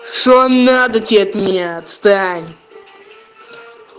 что надо тебе от меня отстань